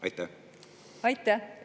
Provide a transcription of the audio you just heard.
Aitäh!